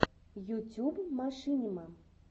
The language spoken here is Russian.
ютюб машинима